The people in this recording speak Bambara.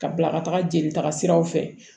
Ka bila ka taga jeli taga siraw fɛ